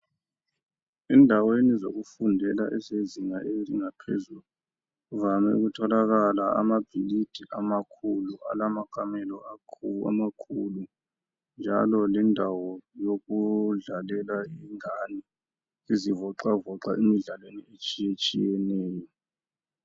endaweni zokufundela ezingeni eliphezulu kuvame ukutholakala amabhilidi amakhulu alamakamelo amakhulu njalo lendawo yokudlalela ingane izivoxavoxa imidlalo etshiyeneyo